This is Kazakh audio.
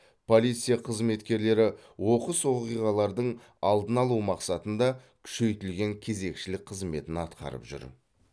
полиция қызметкерлері оқыс оқиғалардың алдын алу мақсатында күшейтілген кезекшілік қызметін атқарып жүр